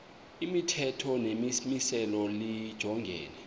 imithetho nemimiselo lijongene